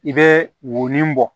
I bɛ woin bɔ